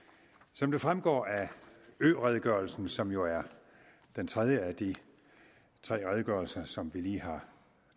som det fremgår af øredegørelsen som jo er den tredje af de tre redegørelser som vi lige har